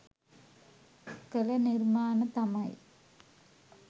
කලනිර්මාන තමයි.